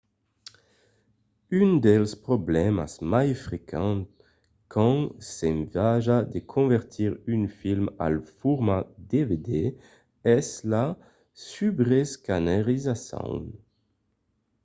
un dels problèmas mai frequents quand s'ensaja de convertir un film al format dvd es la subreescanerizacion